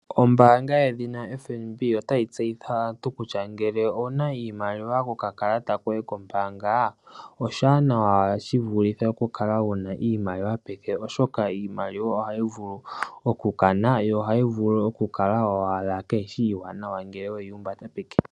Ombaanga yedhina FNB otayi tseyithile aantu kutya ngele owuna iimaliwa kokalata koye kombaanga, oshiwanawa shi vulithe wuna iimaliwa peke, oshoka iimaliwa ohayi vulu okukana, yo ohayi vulu okukala owala kaayishi iiwanawa ngele weyi humbata peke.